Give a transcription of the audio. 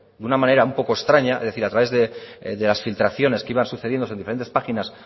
de una manera un poco extraña es decir a través de las filtraciones que iban sucediéndose en diferentes páginas